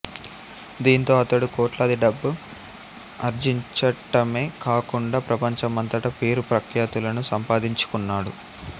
దీంతో అతడు కోట్లాది డబ్బు ఆర్జించటమే కాకుండా ప్రపంచమంతటా పేరు ప్రఖ్యాతులను సంపాదించుకున్నాడు